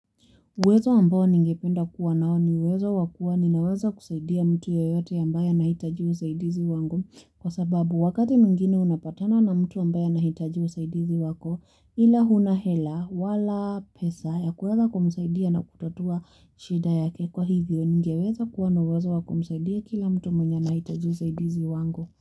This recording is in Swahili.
Uwezo ambao ningependa kuwa nao ni uwezo wakua ninaweza kusaidia mtu yeyote ambaye anahitaji usaidizi wangu kwa sababu wakati mwingine unapatana na mtu ambaye anahitaji usaidizi wako ila huna hela wala pesa ya kuweza kumusaidia na kutotua shida yake kwa hivyo ningeweza kuwa na uwezo wa kumusaidia kila mtu mwenye anahitaji usaidizi wangu.